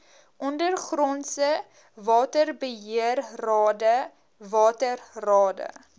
ondergrondse waterbeheerrade waterrade